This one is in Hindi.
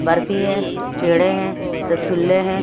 बर्फी है पेड़े हैं रसगुल्ले हैं।